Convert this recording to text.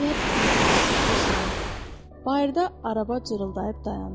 əgər bir hadisə olsa, bayırda araba cırıldayıb dayandı.